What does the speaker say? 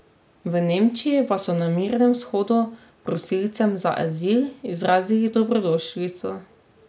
V Nemčiji pa so na mirnem shodu prosilcem za azil izrazili dobrodošlico.